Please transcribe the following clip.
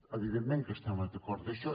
evidentment que estem d’acord amb això